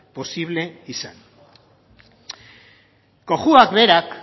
posible izan cojuak berak